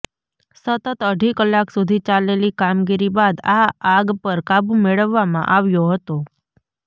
સતત અઢી કલાક સુધી ચાલેલી કામગીરી બાદ આ આગ પર કાબૂ મેળવવામાં આવ્યો હતો